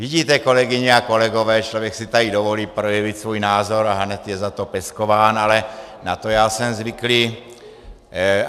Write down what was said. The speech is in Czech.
Vidíte, kolegyně a kolegové, člověk si tady dovolí projevit svůj názor a hned je za to peskován, ale na to já jsem zvyklý.